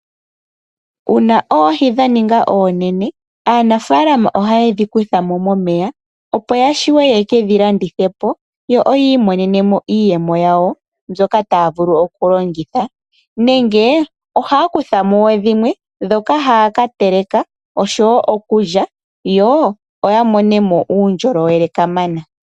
Uuna oohi dha ninga oonene, aanafalama ohaye dhi kutha mo momeya opo ya shiwe yekedhi landithe po yo yi imonene mo iiyemo yawo mbyoka taya vulu okulongitha, nenge ohaya kutha mo wo dhimwe ndhoka haya ka teleka osho wo okulya yo ya mone mo uundjolowe kamana.